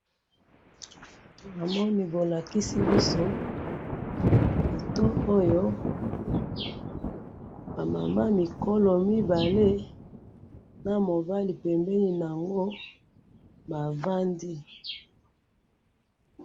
namoni bolakisi biso photo oyo ba mama mikolo mibale na mobali pembeni na bango bavandi.